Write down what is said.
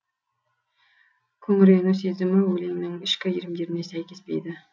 күңірену сезімі өлеңнің ішкі иірімдеріне сәйкеспейді